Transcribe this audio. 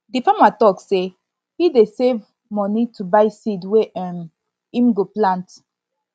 di farmer tok sey e dey save moni to buy seed seed wey um im go plant